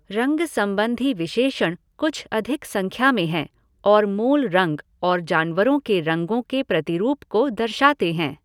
रंग संबंधी विशेषण कुछ अधिक संख्या में हैं और मूल रंग और जानवरों के रंगों के प्रतिरूप को दर्शाते हैं।